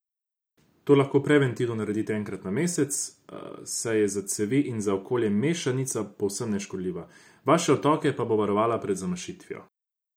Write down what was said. To lahko preventivno naredite enkrat na mesec, saj je za cevi in za okolje mešanica povsem neškodljiva, vaše odtoke pa bo varovala pred zamašitvijo.